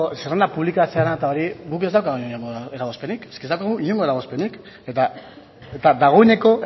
zerrenda publikatzearena eta hori guk ez daukagu inongo eragozpenik ez daukagu inongo eragozpenik eta dagoeneko